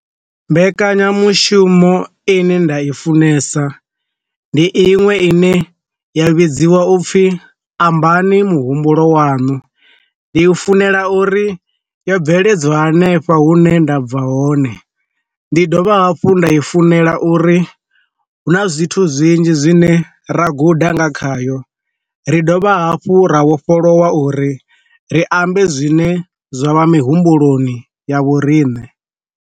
Mbekanyamushumo ine nda i funesa, ndi iṅwe ine ya vhidziwa upfhi ambani muhumbulo waṋu, ndi u funela uri yo bveledzwa hanefha hu ne nda bva hone, ndi dovha hafhu nda i funela uri hu na zwithu zwinzhi zwine ra guda nga khayo ri dovha hafhu ra vhofholowa uri ri ambe zwine zwa vha mihumbuloni ya vhorine.